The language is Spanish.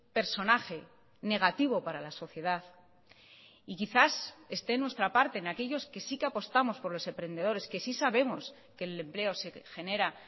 personaje negativo para la sociedad y quizás esté en nuestra parte en aquellos que sí que apostamos por los emprendedores que sí sabemos que el empleo se genera